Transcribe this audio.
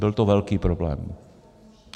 Byl to velký problém.